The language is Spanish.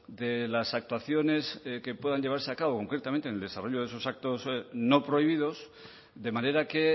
de las actuaciones que puedan llevarse a cabo concretamente en el desarrollo de esos actos no prohibidos de manera que